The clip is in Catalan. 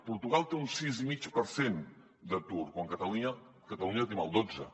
portugal té un sis i mig per cent d’atur quan a catalunya tenim el dotze